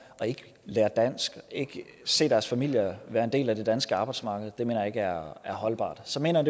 og ikke lære dansk ikke se deres familie være en del af det danske arbejdsmarked det mener jeg ikke er holdbart så mener